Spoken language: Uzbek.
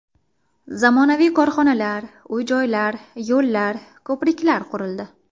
Zamonaviy korxonalar, uy-joylar, yo‘llar, ko‘priklar qurildi.